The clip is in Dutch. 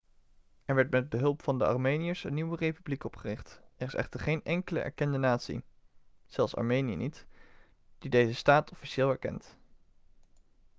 er werd met behulp van de armeniërs een nieuwe republiek opgericht. er is echter geen enkele erkende natie zelfs armenië niet die deze staat officieel erkent